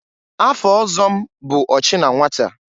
Afa ọzọ m bụ ochi na nwata.